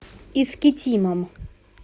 искитимом